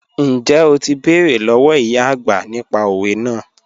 Njẹ́ o ti bẹ̀rẹ̀ lọ́wọ̀ ìyá ọagbà nípà òwẹ̀ naà?